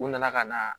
U nana ka na